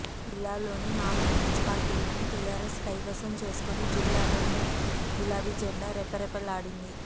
జిల్లాలోని నాలుగు మున్సిపాలిటీలను టీఆర్ఎస్ కైవసం చేసుకుని జిల్లాలో గులాబీ జెండా రెపరెపలాడింది